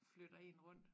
Flytter én rundt